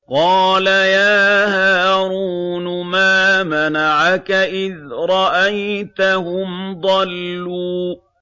قَالَ يَا هَارُونُ مَا مَنَعَكَ إِذْ رَأَيْتَهُمْ ضَلُّوا